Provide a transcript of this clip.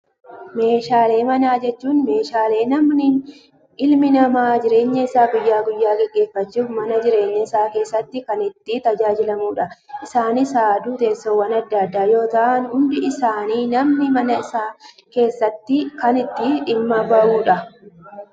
Meeshaalee manaa jechuun, meeshaalee ilmi namaa jireenya isaa guyyaa guyyaa gaggeeffachuuf mana jireenyaa isaa keessatti kan itti tajaajilamudha. Isaanis haaduu, teessoowwan addaa addaa yoo ta'an, hundi isaanii namni mana isaa keessatti kan itti dhimma bahudha.